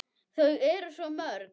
Þau eru svo mörg.